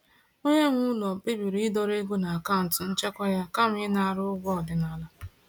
Onye nwe ụlọ kpebiri ịdọrọ ego n’akaụntụ nchekwa ya kama ịṅara ụgwọ ọdịnala.